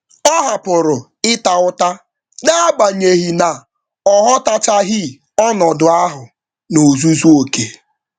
Ọ hapụrụ ịta ụta, naagbanyeghi na ọghọtachaghi ọnọdụ ahụ n'ozuzu oké